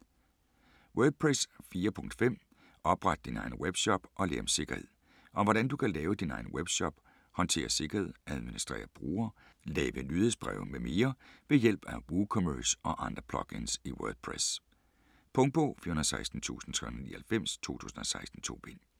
Wordpress 4.5: opret din egen webshop og lær om sikkerhed Om hvordan du kan lave din egen webshop, håndterer sikkerhed, administrerer brugere, laver nyhedsbreve mm. ved hjælp af WooCommerce og andre plugins i WordPress. Punktbog 416399 2016. 2 bind.